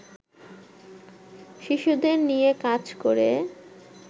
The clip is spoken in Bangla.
শিশুদের নিয়ে কাজ করে